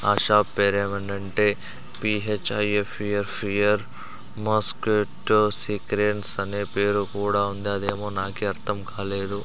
ఆ షాప్ పేరు ఏమన్నా అంటే పిహెచ్ఐఎఫ్ఈఆర్ ఫియర్ మాస్కెట్ సిక్రీన్ అనే పేరు కూడా ఉంది అది ఏమో నాకు కూడా అర్ధం కాలేదు.